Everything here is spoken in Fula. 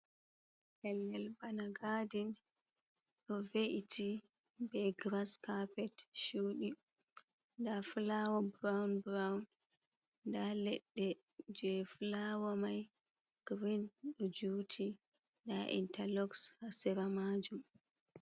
Pellel bana gadin ɗo ve’iti be giras kapet chuɗi, nda fulawa buroun buroun, nda leɗɗe je fulawa mai girin ɗo juti, nda inta lok ha sera majum.